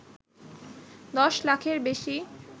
দশলাখের বেশি